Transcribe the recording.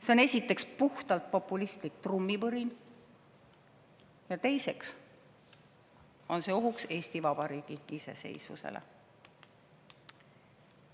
See on esiteks puhtalt populistlik trummipõrin ja teiseks on see ohuks Eesti Vabariigi iseseisvusele.